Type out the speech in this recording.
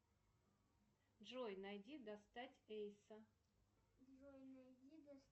джой найди достать эйса